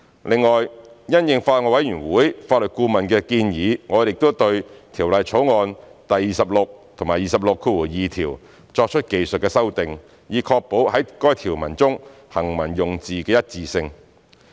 另外，因應法案委員會法律顧問的建議，我們亦對《條例草案》第26及262條作出技術修訂，以確保在該條文中行文用字的一致性。